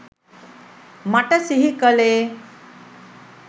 මට සිහි කලේ